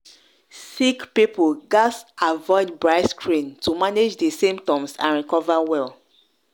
sick people gatz avoid bright screen to manage di symptoms and recover well.